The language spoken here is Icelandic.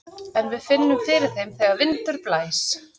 En við finnum fyrir þeim þegar vindur blæs.